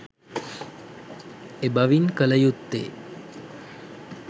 එබැවින් කලයුත්තේ